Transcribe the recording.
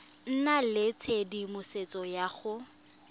nna le tshedimosetso ya go